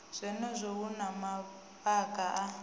zwenezwo hu na mavhaka a